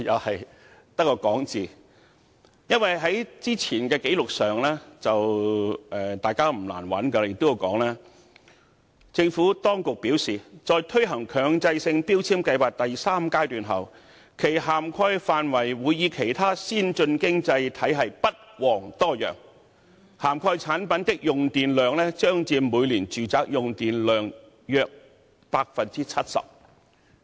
事實上，大家不難找到早前的紀錄，當中提到，"政府當局表示，在推行強制性標籤計劃第三階段後，其涵蓋範圍會與其他先進經濟體系不遑多讓，涵蓋產品的用電量將佔每年住宅用電量約 70%。